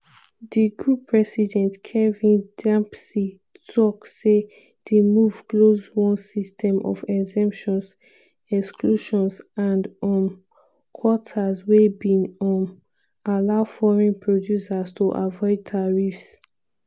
di group president kevin dempsey tok say di move close one system of exemptions exclusions and um quotas wey bin um allow foreign producers to avoid tariffs.